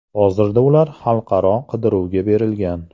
Hozirda ular xalqaro qidiruvga berilgan.